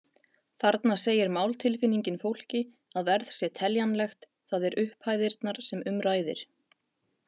Þarna segir máltilfinningin fólki að verð sé teljanlegt, það er upphæðirnar sem um ræðir.